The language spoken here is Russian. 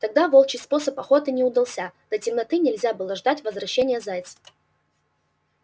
тогда волчий способ охоты не удался до темноты нельзя было ждать возвращения зайца